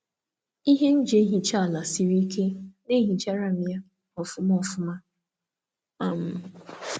um Ngwa m na-eji na-emecha ụlọ ala osisi siri ike na-asacha nke ọma na-enweghị ịhapụ ihe fọdụrụ.